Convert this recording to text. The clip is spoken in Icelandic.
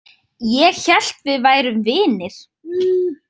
Ég hélt við værum vinir.